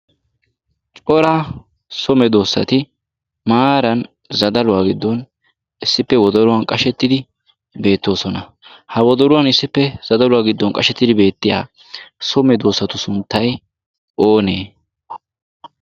cora so me\doossati maaran zadaluwaa giddon issippe wodoluwan qashettidi beettoosona. ha wodoruwan issippe zadaluwaa giddon qashettidi beettiya some doossatu sunttai oonee?